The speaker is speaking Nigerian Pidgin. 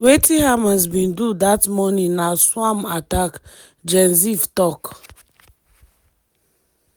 family members later hear from idf say 150 gunmen bin dey for evri 25 combat sojas wey enta nahal oz dat day".